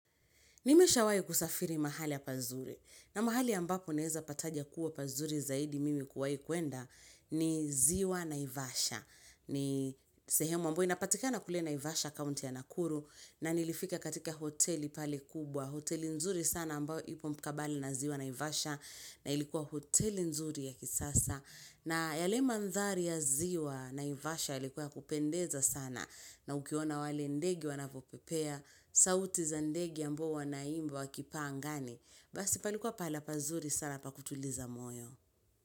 Nimeshawahi kusafiri mahali pazuri na mahali ambako naeza pataja kuwa pazuri zaidi mimi kuwahi kuenda ni ziwa naivasha. Ni sehemu ambayo inapatikana kule naivasha kaunti ya nakuru na nilifika katika hoteli pale kubwa. Hoteli nzuri sana ambao ipo mkabala na ziwa naivasha na ilikuwa hoteli nzuri ya kisasa. Na yale mandhari ya ziwa naivasha yalikuwa ya kupendeza sana na ukiona wale ndege wanavyopepea. Sauti za ndege ambao wanaimba wakipaa angani. Basi palikuwa pahala pazuri sana pakutuliza moyo.